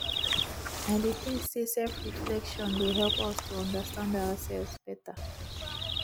i dey think say selfreflection dey help us to understand ourselves beta